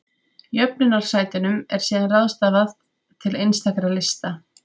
Jöfnunarsætunum er síðan ráðstafað til einstakra lista.